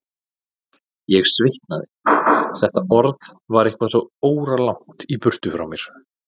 Ég svitnaði, þetta orð var eitthvað svo óralangt í burtu frá mér.